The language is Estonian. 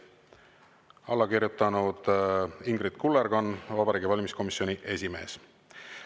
Alla kirjutanud Ingrid Kullerkann, Vabariigi Valimiskomisjoni esimees.